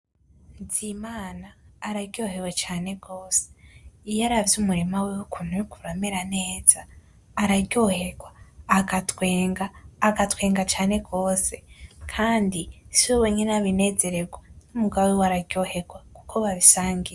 Bizimana araryohewe cane gose ,iyo aravye umurima wiwe ukuntu uriko uramera neza araryoherwa agatwenga , agatwenga cane gose kandi siwe wenyene abinezererwa, n'umugabo wiwe araryoherwa kuko babisangiye.